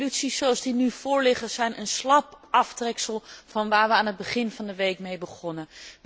De resoluties zoals die nu voorliggen zijn een slap aftreksel van waar wij aan het begin van de week mee begonnen.